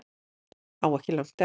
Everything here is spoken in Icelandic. Á ekki langt eftir